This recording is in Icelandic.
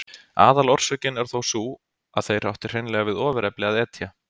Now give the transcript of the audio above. Aðalorsökin er þó sú að þeir áttu hreinlega við ofurefli að etja.